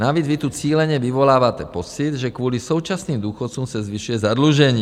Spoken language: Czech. Navíc vy tu cíleně vyvoláváte pocit, že kvůli současným důchodcům se zvyšuje zadlužení.